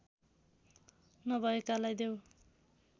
नभएकालाई देऊ